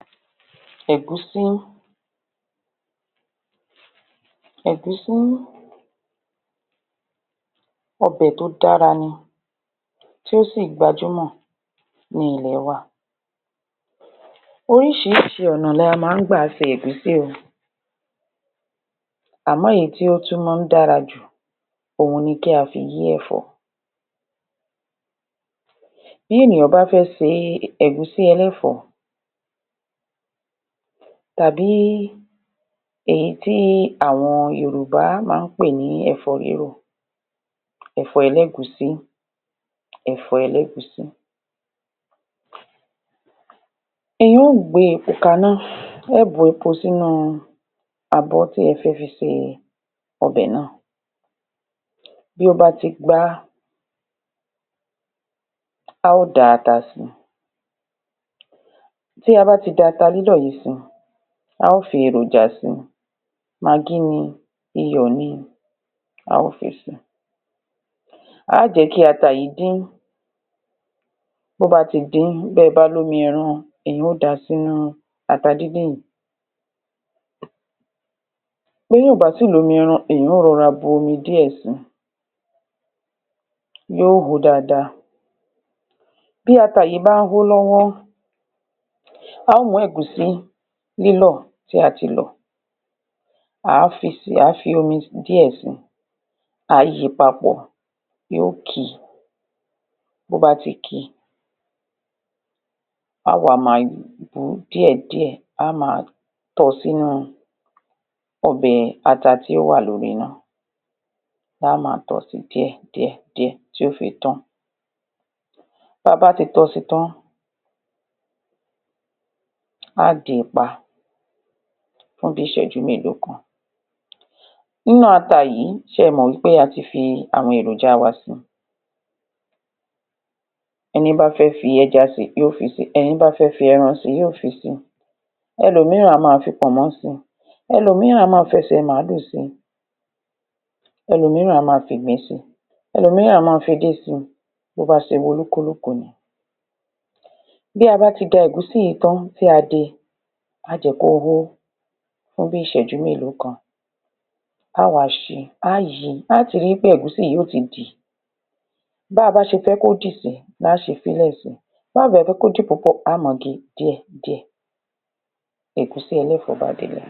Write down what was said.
Ẹ̀gúsí ẹ̀gúsí, ọbè tó dára ni tí ó si gbajúmọ̀ ní ilẹ̀ wa orísìírísìí ọ̀nà ni a máa ń gba se ẹ̀gúsí o, àmọ́ ìyí tí ó tún máa ń dára jù, òun ni kí a fi yí ẹ̀fọ́. Bí ènìyàn bá fẹ́ se ẹ̀gúsí ẹlẹ́fọ̀ọ́, tàbí èyí tí àwọn Yorùbá máa ń pè ní ẹ̀fọ́ rírò ẹ̀fó ẹlẹ́gùsí ẹ̀fó ẹlẹ́gùsí, èèyàn ó gbe epo kaná, ẹ ó bu epo sí inú abọ́ tí ẹ fẹ́ fi se ọbẹ̀ nàá, bí ó bá ti gbá, a ó da ata si, tí a bá ti da ata lílọ́ yíì si, a ó fi èròjà si, magí ni, iyọ̀ ni, a ó fi si, a ó jẹ́ kí ata yìí dín, bó bá ti dín, bẹ́e bá ní omi ẹran, ẹ ó dàá s'ínú ata díndín yìí, béèyàn ò bá sì ní omi eran, èèyàn ó rọra bu omi díè si yó hó dáadáa, bí ata yìí ba ń hó lọ́wọ́, a ó mú ẹ̀gúsí lílọ́ tí a ti lọ̀, àá fi si, à á fi omi díẹ̀ si, àá yi paàpọ̀, yó ki, tó bá ti ki, a wa máa bu díẹ̀ díẹ̀, a máa tọ sínú ọbẹ̀ ata tí ó wà lórí iná. a máa tọ si díè díẹ̀, tí ó fi tán, tí a bá ti tọ si tán, á de pa fún bí ìsẹ́jú mélo kan inú ata yìí, ẹ mọ̀ pé a ti fi èròjà wa si, ẹní bá fẹ́ fi ẹja si yó fi si, ẹni bá fé fi ẹran si, yó fi si ẹlómìíràn á máa fi pọ̀nmọ́ si ẹlómìí á máa fi ẹsè màálù si ẹlòmìíràn á máa fi ìgbín si ẹlómìí á máa fi edé si bóbá ṣe wun olúkúlùkù ni, bí a bá ti da ẹ̀gúsí yìí tán, tí a de, a ó jẹ́ kó hó fún bíi ìṣẹ́jú mélo kan a ó wa ṣi, a ó yi, a ti ri pé ẹ̀gúsí yìí yó ti dì, báa bá ṣe fẹ́ kó dì sí la ó ṣe fí lẹ̀ sí, báà bá fẹ́ kó dì púpọ̀, a ó máa ge díẹ̀ díẹ̀ ẹ̀gúsí ẹlẹ́fọ̀ọ́ bá délẹ̀.